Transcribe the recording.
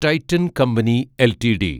Titan company LTD